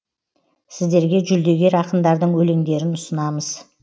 сіздерге жүлдегер ақындардың өлеңдерін ұсынамыз